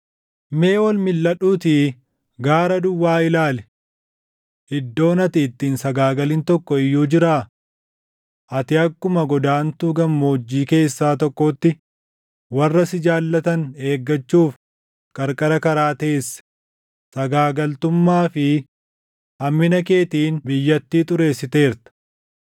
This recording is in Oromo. “Mee ol milʼadhuutii gaara duwwaa ilaali. Iddoon ati itti hin sagaagalin tokko iyyuu jiraa? Ati akkuma godaantuu gammoojjii keessaa tokkootti warra si jaallatan eeggachuuf qarqara karaa teesse; sagaagaltummaa fi hammina keetiin biyyattii xureessiteerta.